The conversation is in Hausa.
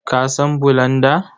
Ka san bulanda?